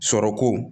Sɔrɔ ko